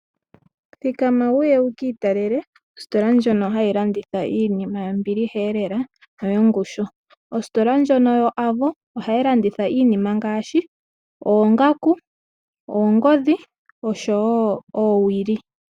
Thikama wuye wu ki italele ositola ndjono hayi landitha iinima yombiliheelela noyongushu. Ositola ndjono yoAVO ohayi landitha iinima ngaashi, oongaku, oongodhi oshowo oowili.